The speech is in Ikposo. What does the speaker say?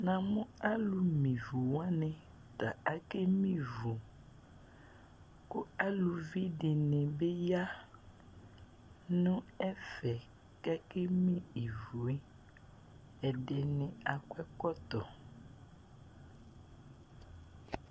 namʊ alʊ me ivuwanɩ ta akeme ivu, kʊ aluvi dɩnɩbɩ ya nʊ ɛfɛ kʊ akeme ivu yɛ, ɛdɩnɩ akɔ ɛkɔtɔ